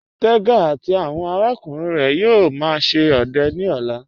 Tẹga àti awọn arákùnrin rẹ yóò má ṣe ọdẹ ni ọ̀là.